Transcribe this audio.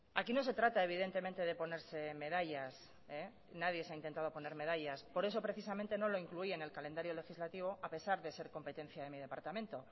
aquí no se trata evidentemente de ponerse medallas nadie se ha intentado poner medallas por eso precisamente no lo incluí en el calendario legislativo a pesar de ser competencia de mi departamento